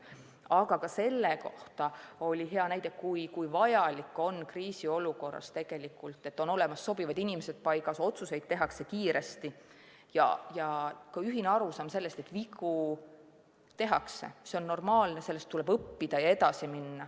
Aga ka selle kohta oli hea näide, kui vajalik on kriisiolukorras tegelikult see, et paigas on sobivad inimesed, otsuseid tehakse kiiresti ja ühine arusaam, et vigu ikka tehakse – see on normaalne, neist tuleb õppida ja edasi minna.